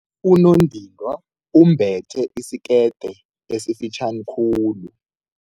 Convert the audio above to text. Unondindwa wembethe isikete esifitjhani khulu.